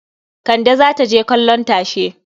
Kande za ta je kallon tashe.